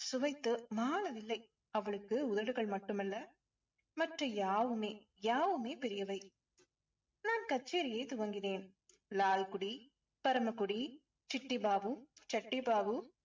சுவைத்து மாளவில்லை. அவளுக்கு உதடுகள் மட்டுமல்ல மற்ற யாவுமே யாவுமே பெரியவை. நான் கச்சேரியை துவங்கினேன் லால்குடி, பரமக்குடி, சிட்டி பாபு, சட்டி பாபு